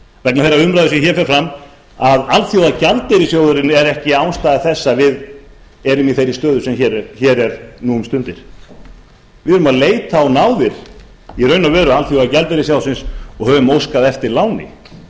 vegna þeirrar umræðu sem hér fer fram að alþjóðagjaldeyrissjóðurinn er ekki ástæða þess að við erum í þeirri stöðu sem hér er nú um stundir við erum í raun og veru að leita á náðir alþjóðagjaldeyrissjóðsins og höfum óskað eftir láni